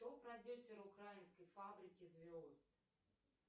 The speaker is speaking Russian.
кто продюсер украинской фабрики звезд